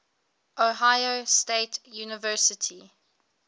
ohio state university